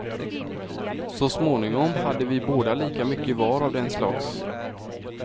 Så småningom hade vi båda lika mycket var av den slags.